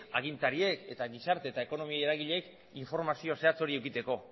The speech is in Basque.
agintariek eta gizarte eta ekonomi eragileek informazio zehatz hori edukitzeko